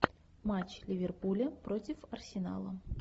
матч ливерпуля против арсенала